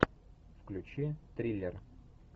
включи триллер